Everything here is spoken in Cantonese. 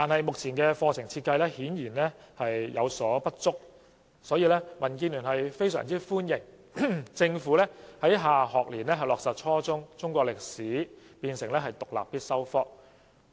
目前的課程設計顯然不足，所以，民建聯非常歡迎政府在下學年落實把初中的中國歷史課程列為獨立必修科。